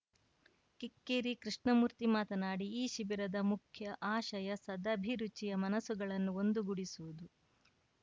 ಕಿಕ್ಕೆರಿ ಕೃಷ್ಣಮೂರ್ತಿ ಮಾತನಾಡಿ ಈ ಶಿಬಿರದ ಮುಖ್ಯ ಆಶಯ ಸದಭಿರುಚಿಯ ಮನಸ್ಸುಗಳನ್ನು ಒಂದು ಗೂಡಿಸುವುದು